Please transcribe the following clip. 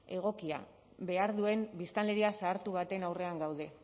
egokia behar duen biztanleria zahartu baten aurrean gaude